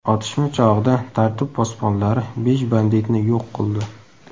Otishma chog‘ida tartib posbonlari besh banditni yo‘q qildi.